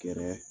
Kɛrɛ